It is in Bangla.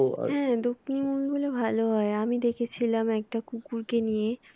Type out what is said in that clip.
হ্যাঁ দক্ষিনি movie গুলো ভালো হয় আমি দেখেছিলাম একটা কুকুর কে নিয়ে